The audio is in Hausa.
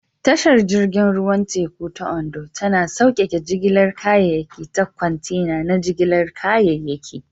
Tashar jirgin ruwan teku ta Ondo tana sauƙaƙe jigilar kayayyaki ta kwantena na jigilar kayayyaki.